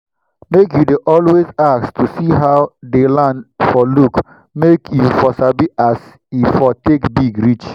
make u dey always ask to see how dey land for look make u for sabi as e for take big reach